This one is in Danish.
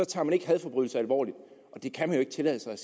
tager man ikke hadforbrydelser alvorligt det kan han ikke tillade sig